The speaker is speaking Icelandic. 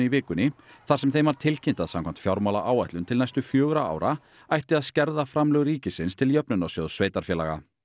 vikunni þar sem þeim var tilkynnt að samkvæmt fjármálaáætlun til næstu fjögurra ára ætti að skerða framlög ríkisins til Jöfnunarsjóðs sveitarfélaga